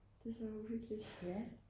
det er så uhyggeligt